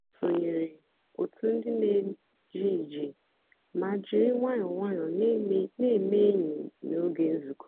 ha sònyèrè otù ndì na-èjé ìjé mà jìrì nwayọ́ọ́ nwayọ́ọ́ na-èmè ényì n'ógè nzukọ́.